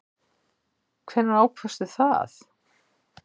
Hvenær ákvaðstu það?